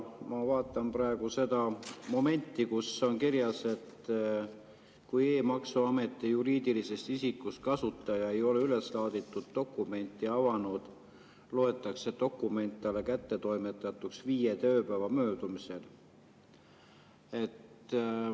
Ma vaatan praegu seda, kus on kirjas, et kui e‑maksuameti juriidilisest isikust kasutaja ei ole üles laaditud dokumenti avanud, loetakse dokument talle kättetoimetatuks viie tööpäeva möödumisel.